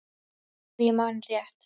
Ef ég man rétt.